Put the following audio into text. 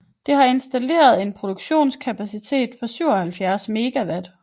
Det har en installeret produktionskapacitet på 77 MW